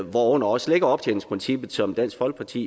hvorunder også optjeningsprincippet som dansk folkeparti